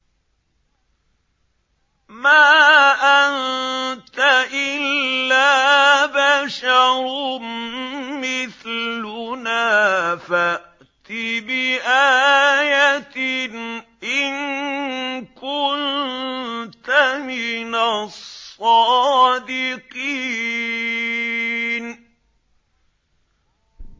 مَا أَنتَ إِلَّا بَشَرٌ مِّثْلُنَا فَأْتِ بِآيَةٍ إِن كُنتَ مِنَ الصَّادِقِينَ